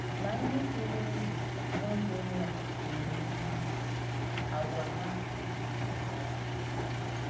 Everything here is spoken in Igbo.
Mà, ǹdí bìrì ndú n’ógè Noa nà-èmè íhè ìké, àgwà hà rùkwàrā àrụ́.